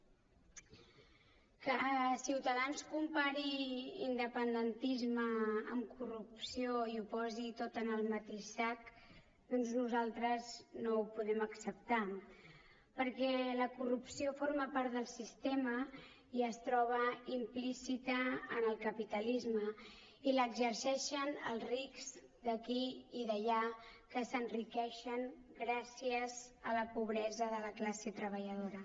que ciutadans compari independentisme amb corrupció i ho posi tot en el mateix sac doncs nosaltres no ho podem acceptar perquè la corrupció forma part del sistema i es troba implícita en el capitalisme i l’exerceixen els rics d’aquí i d’allà que s’enriqueixen gràcies a la pobresa de la classe treballadora